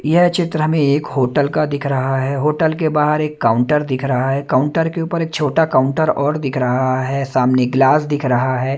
यह चित्र हमे एक होटल का दिख रहा है होटल के बाहर एक काउंटर दिख रहा है काउंटर के ऊपर एक छोटा काउंटर और दिख रहा है सामने ग्लास दिख रहा है।